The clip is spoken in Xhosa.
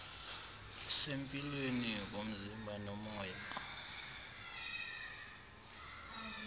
sempilweni komzimba nomoya